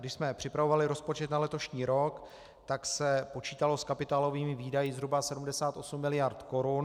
Když jsme připravovali rozpočet na letošní rok, tak se počítalo s kapitálovými výdaji zhruba 78 miliard korun.